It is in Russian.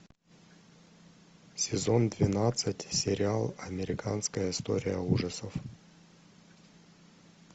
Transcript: сезон двенадцать сериал американская история ужасов